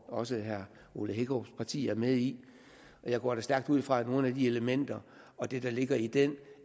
også herre ole hækkerups parti er med i jeg går da stærkt ud fra at nogle af de elementer og det der ligger i den